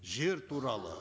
жер туралы